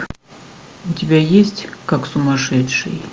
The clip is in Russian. у тебя есть как сумасшедший